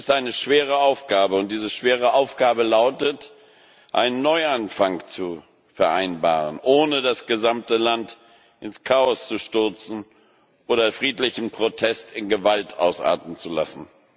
Das ist eine schwere Aufgabe, und diese schwere Aufgabe lautet, einen Neuanfang zu vereinbaren, ohne das gesamte Land ins Chaos zu stürzen oder friedlichen Protest in Gewalt ausarten zu lassen.